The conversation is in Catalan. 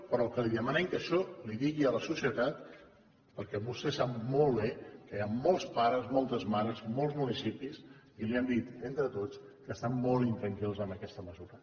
però el que li demanem que això li ho digui a la societat perquè vostè sap molt bé que hi ha molts pares moltes mares molts municipis que li han dit entre tots que estan molt intranquils amb aquesta mesura